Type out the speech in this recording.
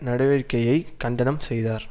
நடவடிக்கையைக் கண்டனம் செய்தார்